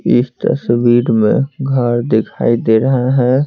इस तस्वीर में घर दिखाई दे रहे हैं।